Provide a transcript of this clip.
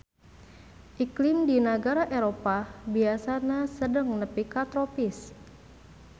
Iklim di nagara Eropah biasana sedeng nepi ka tropis